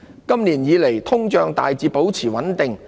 今年以來通脹大致保持穩定。